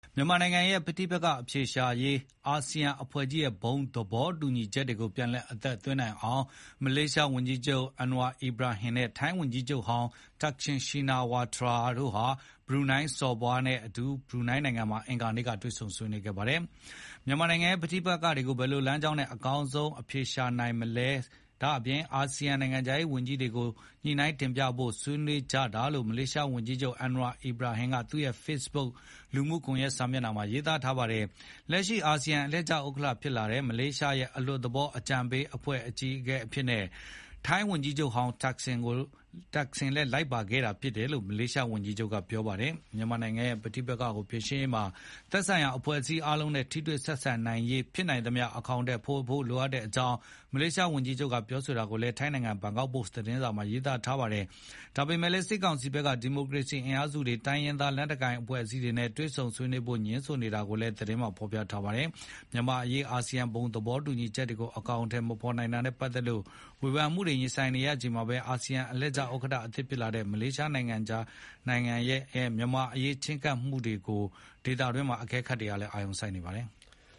မြန်မာနိုင်ငံရဲ့ ပဋိပက္ခအဖြေရှာရေး အာဆီယံအဖွဲ့ကြီးရဲ့ ဘုံသဘောတူညီချက်တွေကို ပြန်လည် အသက်သွင်းနိုင်အောင် မလေးရှားဝန်ကြီးချုပ် Anwar Ibrahim နဲ့ ထိုင်းဝန်ကြီးချုပ်ဟောင်း Thaksin Shinawatra တို့ဟာ ဘရူနိုင်းစော်ဘွား Hassanal Bolkiah နဲ့ ဘရူးနိုင်ငံမှာ အင်္ဂါနေ့က တွေ့ဆုံ ဆွေးနွေးကြပါတယ်။ မြန်မာနိုင်ငံရဲ့ ပဋိပက္ခကို ဘယ်လိုလမ်းကြောင်းနဲ့ အကောင်းဆုံးအဖြေရှာနိုင်မလဲ၊ အာဆီယံ နိုင်ငံခြားရေးဝန်ကြီးတွေကို ညှိနှိုင်းတင်ပြဖို့ဆွေးနွေးကြတာလို့ မလေးရှားဝန်ကြီးချုပ် Anwar Ibrahim က သူ့ရဲ့ Facebook လူမှုကွန်ရက်မှာ ရေးသားထားပါတယ်။ လက်ရှိအာဆီယံ အလှည့်ကျဥက္ကဋ္ဌဖြစ်တဲ့ မလေးရှားရဲ့ အလွတ်သဘောအကြံပေးအဖွဲ့ အကြီးအကဲအဖြစ်နဲ့ ထိုင်းဝန်ကြီးချုပ်ဟောင်း Thaksin လည်း လိုက်ပါခဲ့တာဖြစ်တယ်လို့ မလေးရှားဝန်ကြီးချုပ်က ပြောထားပါတယ်။ မြန်မာနိုင်ငံရဲ့ပဋိပက္ခကိုဖြေရှင်းရေးမှာ သက်ဆိုင်ရာ အဖွဲ့အစည်းအားလုံးနဲ့ ထိတွေ့ဆက်ဆံနိုင်ရေး ဖြစ်နိုင်သမျှ အကောင်အထည်ဖေါ်ဖို့လိုတဲ့အကြောင်း မလေးရှားဝန်ကြီးချုပ်ပြောတာကိုလည်း ထိုင်းနိုင်ငံ ဘန်ကောက်ပို့စ်သတင်းစာမှာ ရေးပါတယ်။ ဒါပေမဲ့လည်း စစ်ကောင်စီဘက်က ဒီမိုကရေစီအင်အားစုတွေ တိုင်းရင်းသားလက်နက်ကိုင်အဖွဲ့အစည်းတွေနဲ့ တွေ့ဆုံဆွေးနွေးဖို့ ငြင်းဆိုနေတာကိုလည်း သတင်းမှာဖေါ်ပြပါတယ်။ မြန်မာ့အရေး အဆီယံ ဘုံသဘောတူညီချက်တွေကို အကောင်အထည်မဖေါ်နိုင်တာနဲ့ပတ်သက်လို့ ဝေဖန်မှုတွေရင်ဆိုင်နေရချိန်မှာပဲ အာဆီယံအလှည့်ကျဥက္ကဋ္ဌသစ်ဖြစ်လာတဲ့ မလေးရှားနိုင်ငံရဲ့ မြန်မာ့အရေးချဉ်းကပ်မှုတွေကို ဒေသတွင်းအကဲခတ်တွေ အာရုံစိုက်နေကြပါတယ်။